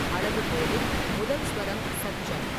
அளவுகோலில் முதல் சுவரம் சத்ஜம்.